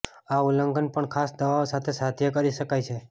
આ ઉલ્લંઘન પણ ખાસ દવાઓ સાથે સાધ્ય કરી શકાય છે